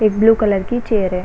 एक blue colour की chair है।